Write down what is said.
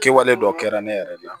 Kɛwale dɔ kɛra ne yɛrɛ de la